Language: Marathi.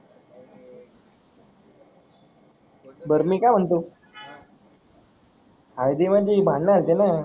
बर मी का म्हणतो हळदी मध्ये भांडण न